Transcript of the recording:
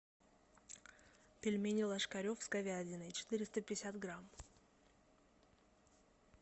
пельмени ложкарев с говядиной четыреста пятьдесят грамм